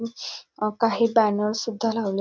अ काही बॅनर सुद्धा लावले --